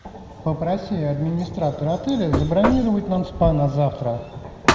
попроси администратора отеля забронировать нам спа на завтра